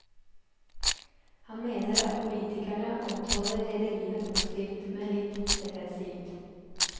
Han mener at politikerne omtaler rederiene positivt, men litt defensivt.